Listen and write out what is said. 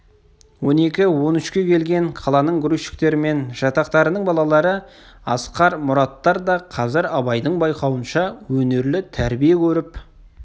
он екі-он үшке келген қаланың грузчиктері мен жатақтарының балалары асқар мұраттар да қазір абайдың байқауынша өнерлі тәрбие көріп